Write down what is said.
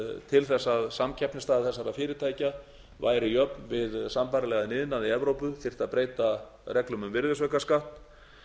til þess að samkeppnisstaða þessara fyrirtækja væri jöfn við sambærilegan iðnað í evrópu þyrfti að breyta reglum um virðisaukaskatt